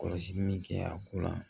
Kɔlɔsili min kɛ a ko la